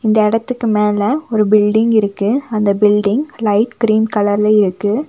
இந்த எடத்துக்கு மேல ஒரு பில்டிங் இருக்கு அந்த பில்டிங் லைட் கிரீன் கலர்ல இருக்கு.